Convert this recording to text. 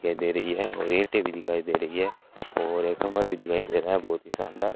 दिखाई दे रही है और रेटे भी दिखाई दे रही है और कमरा भी दिखाई दे रहा है बहुत शानदार --